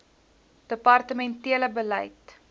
departemen tele beleid